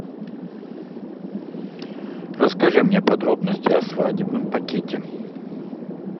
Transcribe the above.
расскажи мне подробности о свадебном пакете